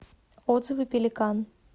отзывы пеликан